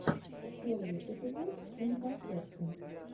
первый эпизод инфасотки